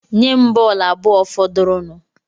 Nye m bọọlụ abụọ fọdụrụnụ